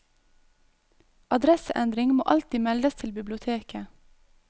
Adresseendring må alltid meldes til biblioteket.